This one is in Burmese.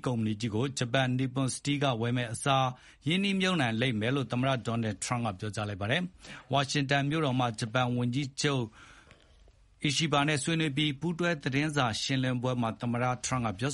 ကုမ္ပဏီကြီးကို ဂျပန် Nippon Steel က ဝယ်မယ့်အစား၊ ရင်းနှီးမြှပ်နှံမှု လုပ်လိမ့်မယ်လို့ သမ္မတ Donald Trump က ပြောကြားလိုက်ပါတယ်။ ဝါရှင်တန်မြို့တော်မှာ ဂျပန်ဝန်ကြီးချုပ် Shigeru Ishiba ဆွေးနွေးအပြီး၊ ပူးတွဲသတင်းစာရှင်းပွဲမှာ သမ္မတ Trump ကပြော